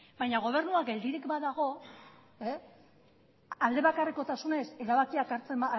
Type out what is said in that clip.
baina gobernua geldirik badago alde bakarrekotasunez erabakiak hartzen